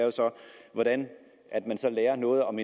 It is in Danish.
hvordan man så lærer noget om